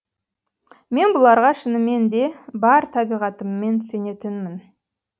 мен бұларға шынымен де бар табиғатыммен сенетінмін